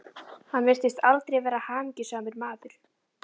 Hann virtist aldrei vera hamingjusamur maður.